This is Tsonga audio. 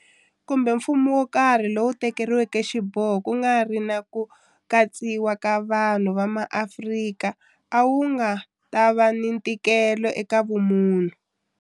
Kumbe mfumo wo karhi lowu tekeriweke xiboho ku nga ri ni ku katsiwa ka vanhu va maAfrika a wu nga ta va ni ntikelo eka vumunhu.